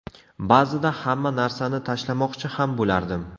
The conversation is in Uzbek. Ba’zida hamma narsani tashlamoqchi ham bo‘lardim.